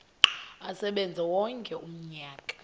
asebenze wonke umnyaka